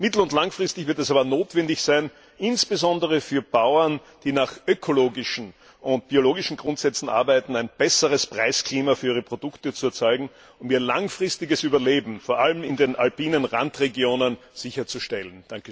Mittel und langfristig wird es aber notwendig sein, insbesondere für Bauern, die nach ökologischen und biologischen Grundsätzen arbeiten, ein besseres Preisklima für ihre Produkte zu erzeugen, um ihr langfristiges Überleben vor allem in den alpinen Randregionen sicherzustellen.